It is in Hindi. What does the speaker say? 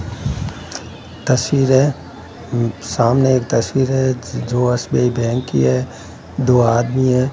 तस्वीर है सामने एक तस्वीर है जो एस_बी_आई बैंक की है दो आदमी है।